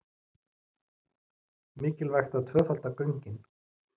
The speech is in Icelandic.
Mikilvægt að tvöfalda göngin